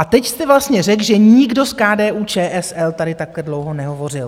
A teď jste vlastně řekl, že nikdo z KDU-ČSL tady takhle dlouho nehovořil.